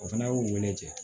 O fana y'u wele